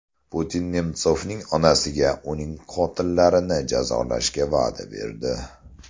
Putin Nemsovning onasiga uning qotillarini jazolashga va’da berdi.